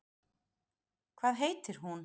Hvað heitir hún?